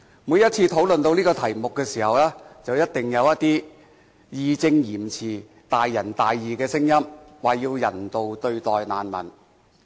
每一次討論這個題目的時候，一定有一些義正詞嚴、大仁大義的聲音表示，要人道對待難民。